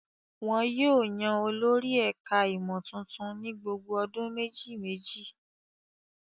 Wọn yóò yan olórí ẹ̀ka-ìmọ̀ tuntun ní gbogbo ọdún méjì-mejì.